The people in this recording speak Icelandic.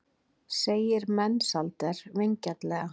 segir Mensalder vingjarnlega.